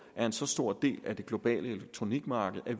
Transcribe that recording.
en så stor del af det globale elektronikmarked at